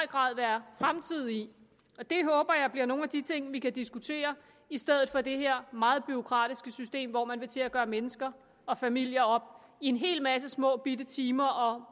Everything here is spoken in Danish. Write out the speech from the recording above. grad være fremtid i det håber jeg bliver nogle af de ting vi kan diskutere i stedet for det her meget bureaukratiske system hvor man vil til at gøre mennesker og familier op i en hel masse små bitte timer og